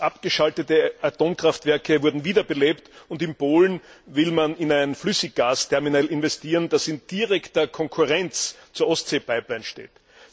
Bereits abgeschaltete Atomkraftwerke wurden wiederbelebt, und in Polen will man in ein Flüssiggasterminal investieren, das in direkter Konkurrenz zur Ostsee Pipeline steht.